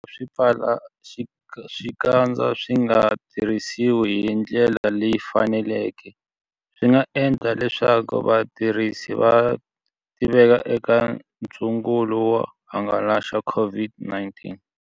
Swipfalaxikandza swi nga tirhisiwi hi ndlela leyi faneleke, swi nga endla leswaku vatirhisi va tiveka eka ntsungulo wo hangalasa COVID-19.